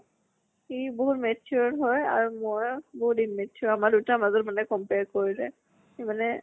সি বহুত matured হয় আৰু মই বহুত immature আমাৰ দুটা ৰ মাজত মানে compare কৰিলে মানে